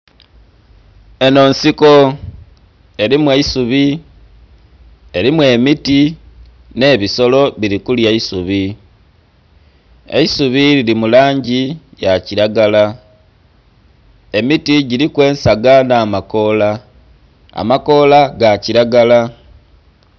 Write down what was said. Enho nsiko erimu eisubi, erimu emiti nhe ebisolo bili kulya isubi, eisubi lili mulangi ya kilagala emiti giliku ensaga nha makoola, amakoola ga kilagala.